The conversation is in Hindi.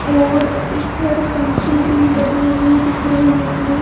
और इसधर पंखे भी लगे हुए दिख रहे हैं।